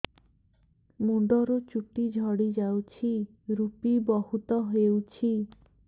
ମୁଣ୍ଡରୁ ଚୁଟି ଝଡି ଯାଉଛି ଋପି ବହୁତ ହେଉଛି